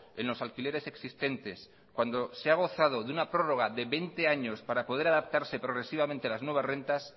en los alquileres existentes cuando se ha gozado de una prórroga de veinte años para poder adaptarse progresivamente a las nuevas rentas